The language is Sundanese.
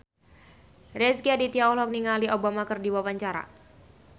Rezky Aditya olohok ningali Obama keur diwawancara